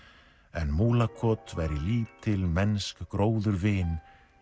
en Múlakot væri lítil mennsk gróðurvin